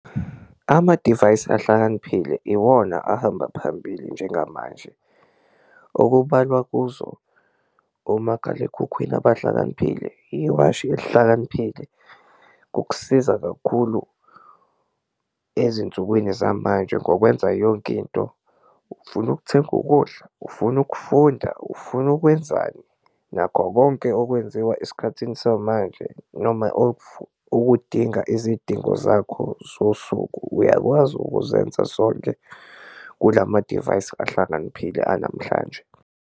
Amadivayisi ahlakaniphile iwona ahamba phambili njengamanje okubalwa kuzo omakhalekhukhwini abahlakaniphile, iwashi elihlakaniphile ukusiza kakhulu ezinsukwini zamanje ngokwenza yonke into, ufuna ukuthenga ukudla, ufuna ukufunda, ufuna ukwenzani, nakho konke okwenziwa esikhathini samanje. Noma okudinga izidingo zakho zosuku, uyakwazi ukuzenza sonke kula madivayisi ahlakaniphile anamhlanje.